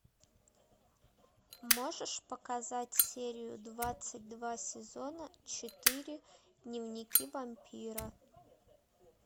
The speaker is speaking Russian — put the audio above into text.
можешь показать серию двадцать два сезона четыре дневники вампира